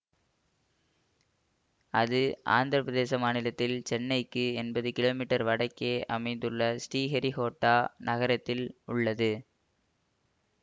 அது ஆந்திர பிரதேசம் மாநிலத்தில் சென்னைக்கு எண்பது கிமீ வடக்கே அமைந்துள்ள ஸ்ரீஹரிக்கோட்டா நகரத்தில் உள்ளது